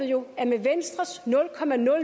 jo at med venstres